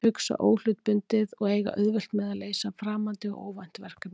Hugsa óhlutbundið og eiga auðvelt með að leysa framandi og óvænt verkefni.